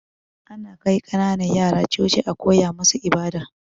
Ana kai kananan yara Coci a koya musu ibada